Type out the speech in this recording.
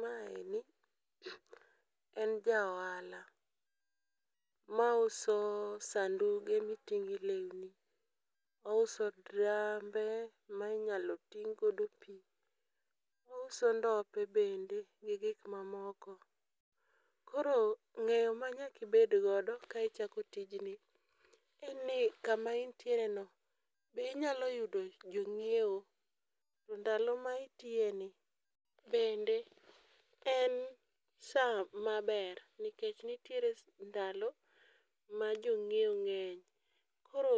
Ma eni en ja ohala mauso sanduge miting'e lewni .Ouso drambe ma inyalo ting' godo pii, ouso ndope bende gi gik mamoko . Koro ng'eyo ma nyaki bed godo ka ichako tijni en ni kama intiere no bi inyalo yudo jong'iewo to ndalo ma itiye ni bende en saa maber nikech s ndalo ma jong'iewo ng'eny. Koro